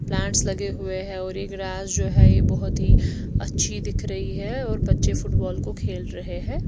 Plants लगे हुए हैं और यह ग्रास जो है यह बहुत ही अच्छी दिख रही है और बच्चे फुटबॉल को खेल रहे हैं।